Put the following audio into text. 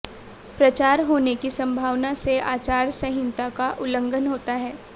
प्रचार होने की संभावना से आचार संहिता का उल्लंघन होता है